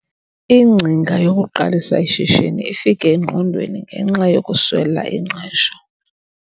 Ingcinga yokuqalisa ishishini ifike engqondweni ngenxa yokuswela ingqesho.